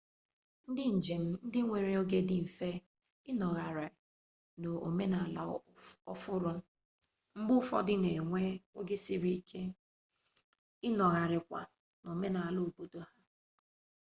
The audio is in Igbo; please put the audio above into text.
ndị njem ndị nwere oge dị mfe ịnọgharị n'omenala ọhụrụ mgbe ụfọdụ na-enwe oge siri ike ịnọgharịkwa n'omenala keobodo ha